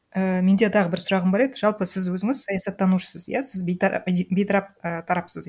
ііі менде тағы бір сұрағым бар еді жалпы сіз өзіңіз саясаттанушысыз иә сіз бейтарап і тарапсыз